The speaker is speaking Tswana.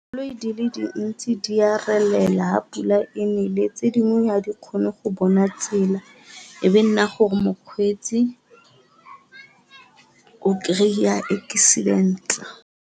Koloi di le dintsi di a relela pula e nele, tse dingwe ga di kgone go bona tsela e be nna gore mokgweetsi o kry-a accident.